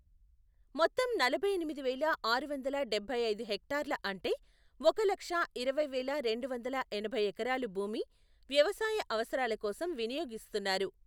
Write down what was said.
మొత్తం నలభై ఎనిమిది వేల ఆరు వందల డబ్బై ఐదు హెక్టార్ల అంటే, ఒక లక్ష ఇరవై వేల రెండు వందల ఎనభై ఎకరాలు భూమి వ్యవసాయ అవసరాల కోసం వినియోగిస్తున్నారు.